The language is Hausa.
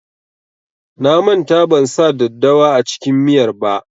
Na manta ban sa daddawa a cikin miyar ba.